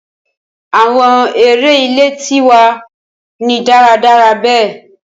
Awọn ere ile ti wa ni daradara be